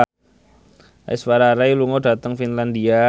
Aishwarya Rai lunga dhateng Finlandia